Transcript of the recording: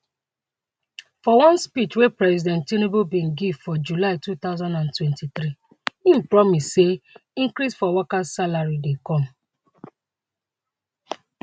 for one speech wey president tinubu bin give for july 2023 im promise say increase for workers salary dey come